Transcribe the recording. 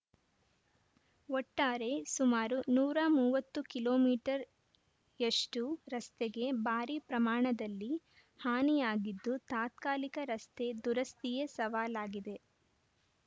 ಒಟ್ಟಾರೆ ಸುಮಾರು ನೂರ ಮೂವತ್ತು ಕಿಲೋ ಮೀಟರ್ ಯಷ್ಟುರಸ್ತೆಗೆ ಭಾರಿ ಪ್ರಮಾಣದಲ್ಲಿ ಹಾನಿಯಾಗಿದ್ದು ತಾತ್ಕಾಲಿಕ ರಸ್ತೆ ದುರಸ್ತಿಯೇ ಸವಾಲಾಗಿದೆ